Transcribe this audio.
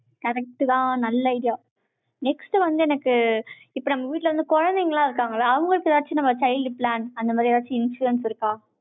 correct தான், நல்ல idea next வந்து எனக்கு, இப்ப நம்ம வீட்டுல வந்து, குழந்தைங்க எல்லாம் இருக்காங்கல்ல, அவங்களுக்கு ஏதாச்சும் நம்ம child plant, அந்த மாதிரி ஏதாச்சும் insurance இருக்கா?